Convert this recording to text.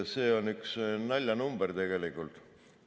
See on üks naljanumber tegelikult.